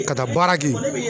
Ka taa baara kɛ.